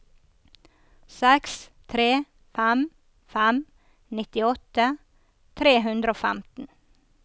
seks tre fem fem nittiåtte tre hundre og femten